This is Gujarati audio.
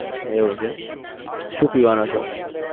એવું છે એમ. શું પીવાનો શોખ છે?